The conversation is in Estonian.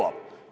Jõuab!